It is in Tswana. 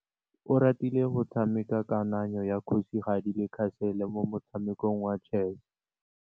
Oratile o tshamekile kananyô ya kgosigadi le khasêlê mo motshamekong wa chess.